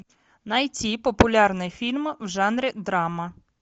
найти популярные фильмы в жанре драма